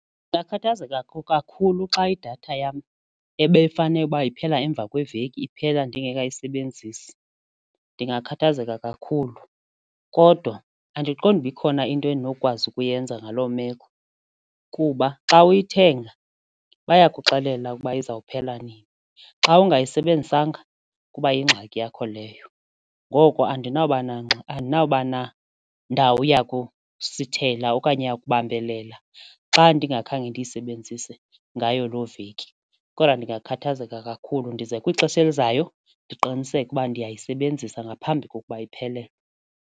Ndingakhathazeka kakhulu xa idatha yam ebefanele uba iphela emva kweveki iphela ndingekayisebenzisi ndingakhathazeka kakhulu kodwa andiqondi uba ikhona into endinokwazi ukuyenza ngaloo meko kuba zithi xa uyithenga bayakuxelela ukuba izawuphela nini, xa ungayisebenzisanga kuba yingxaki yakho leyo ngoko andinakuba andinakuba na ndawo yakusithethela okanye yakubambelela xa ndingakhange ndiyisebenzise ngayo loo veki. Kodwa ndingakhathazeka kakhulu ndize kwixesha elizayo ndiqiniseke uba ndiyayisebenzisa ngaphambi kokuba iphelelwe.